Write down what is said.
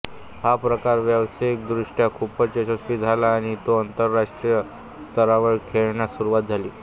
हा प्रकार व्यावसायिकदृष्ट्या खूपच यशस्वी झाला आणि तो आंतरराष्ट्रीय स्तरावर खेळण्यास सुरवात झाली